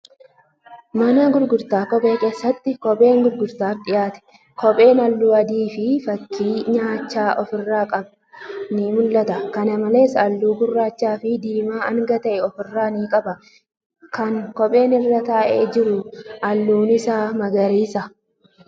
Mana gurgurtaa kophee keessatti kophee gurguraaf dhiyaate. Kophee halluu adiifi fakkii naachaa ifirraa qabu ni mul'ata. Kana malees, halluu gurraachafi diimaa hanga ta'a ofirraa ni qaba. Kan kopheen irra taa'ee jiru halluun isaa magariisa.